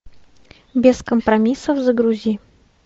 без компромиссов загрузи